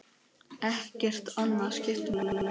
Ekkert annað skiptir máli.